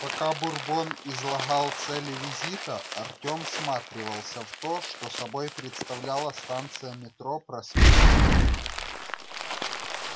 пока бурбон излагал цели визита артём всматривался в то что собой представляла станция метро проспект мира